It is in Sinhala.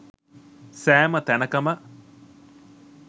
සෑම තැනකම